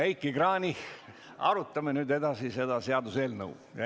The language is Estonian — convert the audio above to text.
Aga arutame nüüd edasi seda seaduseelnõu.